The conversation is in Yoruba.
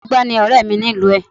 Arugbá ni ọ̀rẹ́ mi ni ìlú ẹ̀